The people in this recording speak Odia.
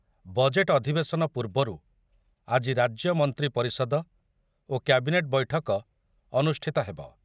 ବଜେଟ୍‌‌‌ ଅଧିବେଶନ ପୂର୍ବରୁ ଆଜି ରାଜ୍ୟ ମନ୍ତ୍ରୀ ପରିଷଦ ଓ କ୍ୟାବିନେଟ୍ ବୈଠକ ଅନୁଷ୍ଠିତ ହେବ।